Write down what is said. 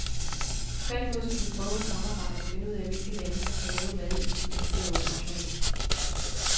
Tværtimod skal vi prøve at samarbejde og finde ud af, hvilke lande der skal lave hvad i de militære operationer.